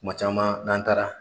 Kuma caman n'an taara